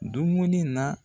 Dumuni na